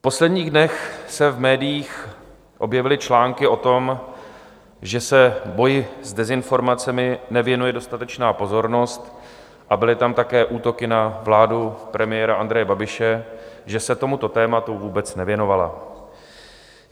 V posledních dnech se v médiích objevily články o tom, že se boji s dezinformacemi nevěnuje dostatečná pozornost, a byly tam také útoky na vládu premiéra Andreje Babiše, že se tomuto tématu vůbec nevěnovala.